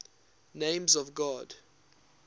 names of god